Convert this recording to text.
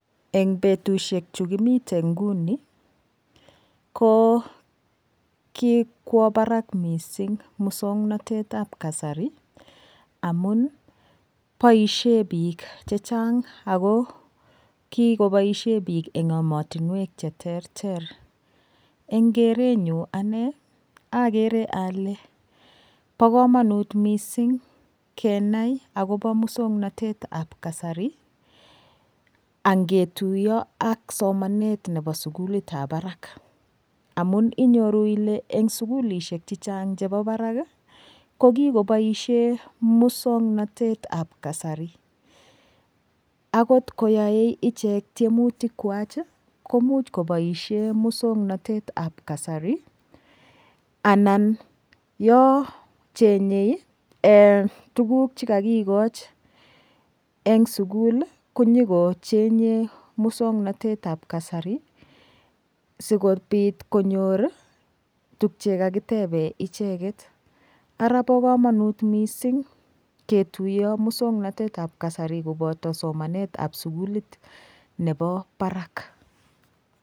En betushiek chekimite nguni ko kikwo barak mising' muswong'natetab kasari amun boishe biik chechang' ako kikoboishe biik eng' emotinwek cheterter eng' kerenyu ane agere ale bo kamanut mising' kenai akobo muswang'natetab kasari angetuiyo ak somanet nebo sukulitab barak amun iyoru ile eng' sukulishek chechang' chebo barak kokikoboishe muswang'natetab kasari akot koyoei ichek tiemutik kwach komuch koboishe muswang'natetab kasari anan yo chenyei tukuk chekakikoch eng' sukul konyikochenye muswang'natetab kasari sikobit konyor tukche kakitebe icheget ara bo kamanut mising'ketuiyo muswang'natetab kasari koboto somanetab sukulit nebo barak